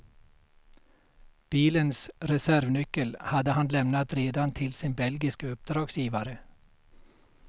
Bilens reservnyckel hade han lämnat redan till sin belgiske uppdragsgivare.